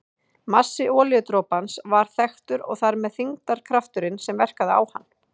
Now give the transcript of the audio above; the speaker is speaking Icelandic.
Massi olíudropans var þekktur og þar með þyngdarkrafturinn sem verkaði á hann.